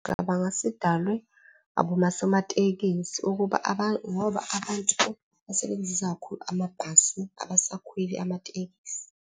Cabanga sidalwe abosomatekisi ukuba ngoba abantu basebenzisa kakhulu amabhasi abasekhweli amatekisi.